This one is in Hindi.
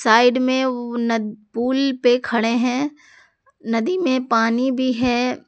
साइड में उ नद पुल पे खड़े हैं नदी में पानी भी है।